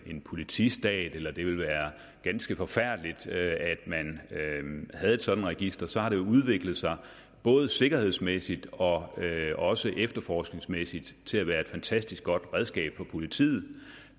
en politistat eller at det ville være ganske forfærdeligt at man havde et sådant register så har det jo udviklet sig både sikkerhedsmæssigt og også efterforskningsmæssigt til at være et fantastisk godt redskab for politiet